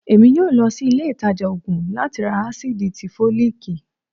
èmí yóò lòsí ilé ìtajà òògùn lati rá acidí tí folikí